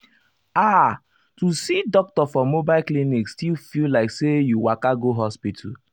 ah to see doctor for mobile clinic still feel like say you waka go hospital.